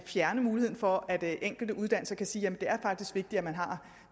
fjerne muligheden for at de enkelte uddannelser kan sige